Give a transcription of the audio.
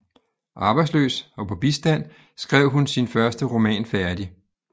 Arbejdsløs og på bistand skrev hun sin første roman færdig